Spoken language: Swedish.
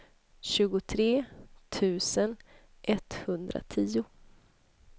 tjugotre tusen etthundratio